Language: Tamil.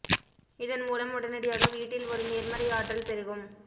இதன் மூலம் உடனடியாக வீட்டில் ஒரு நேர்மறை ஆற்றல் பெருகும்